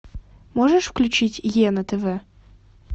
можешь включить е на тв